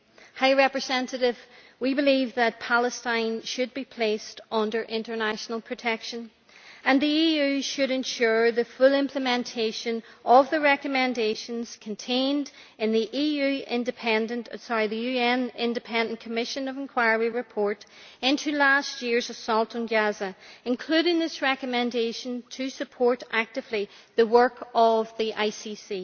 High Representative, we believe that Palestine should be placed under international protection and the EU should ensure the full implementation of the recommendations contained in the UN Independent Commission of Inquiry report into last year's assault on Gaza, including its recommendation to support actively the work of the ICC.